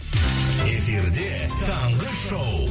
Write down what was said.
эфирде таңғы шоу